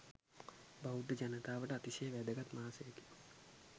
බෞද්ධ ජනතාවට අතිශය වැදගත් මාසයකි.